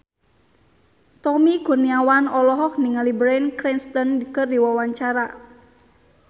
Tommy Kurniawan olohok ningali Bryan Cranston keur diwawancara